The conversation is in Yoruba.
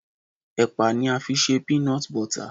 Ẹ̀pà ni a fi ṣe Peanut Butter.